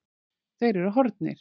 Þeir eru horfnir.